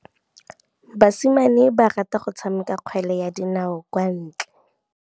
Basimane ba rata go tshameka kgwele ya dinaô kwa ntle.